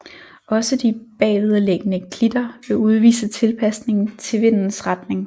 Også de bagved liggende klitter vil udvise tilpasning til vindens retning